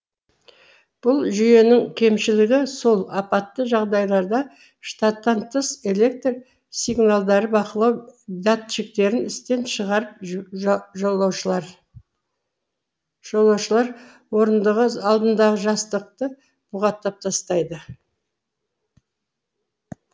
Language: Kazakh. бұл жүйенің кемшілігі сол апатты жағдайларда штаттан тыс электр сигналдары бақылау датчиктерін істен шығарып жолаушылар орындығы алдындағы жастықты бұғаттап тастайды